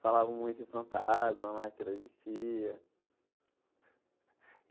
Falavam muito de fantasma lá, que ela existia.